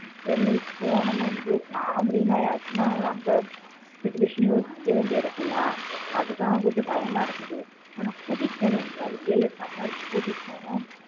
ஆனா கூட்டிட்டு போகனு பிள்ளைகளை எங்கயாவது கூட்டிட்டு போகணும்